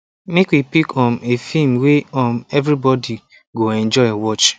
make we pick um a film way um everybody go enjoy watch